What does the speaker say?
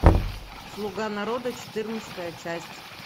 слуга народа четырнадцатая часть